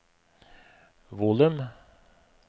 volum